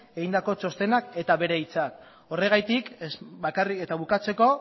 egindako txostenetik hartu ditut horregatik eta bukatzeko